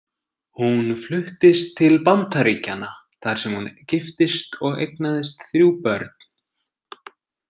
Hún fluttist til Bandaríkjanna þar sem hún giftist og eignaðist þrjú börn.